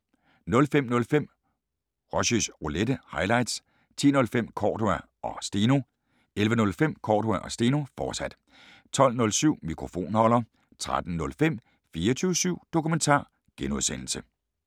05:05: Rushys Roulette – highlights 10:05: Cordua & Steno 11:05: Cordua & Steno, fortsat 12:07: Mikrofonholder 13:05: 24syv Dokumentar (G)